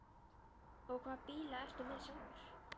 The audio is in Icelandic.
Og hvaða bíla ertu með sjálfur?